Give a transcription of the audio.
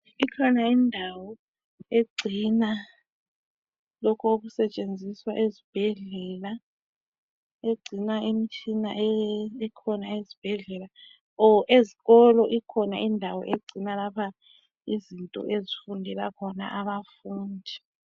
Ikhona indawo egcina lokho okusetshenziswa esibhedlela, egcina imitshina ezibhedlela o ezikolo ikhona indawo egcina lapha izinto ezifundela khona abafundi.